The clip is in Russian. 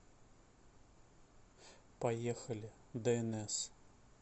поехали днс